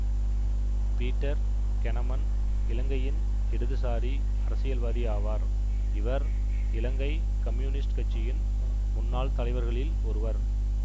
Peter Keuneman இலங்கையின் இடதுசாரி அரசியல்வாதி ஆவார் இவர் இலங்கை கம்யூனிஸ்ட் கட்சியின் முன்னாள் தலைவர்களில் ஒருவர்